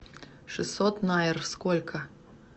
шестьсот найр сколько